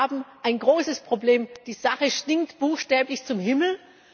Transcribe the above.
Wir haben ein großes Problem, die Sache stinkt buchstäblich zum Himmel.